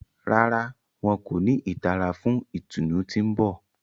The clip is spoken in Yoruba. Ràrá, wọn ko ni ìtara fún ìtùnú tí n bọ